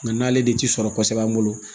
Nka n'ale de t'i sɔrɔ kosɛbɛ an bolo